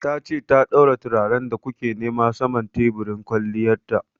Ta ce ta daura turaren da ku ke nema saman teburin kwalliyan ta.